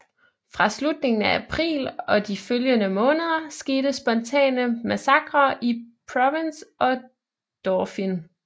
Fra slutningen af april og de følgende måneder skete spontane massakrer i Provence og Dauphiné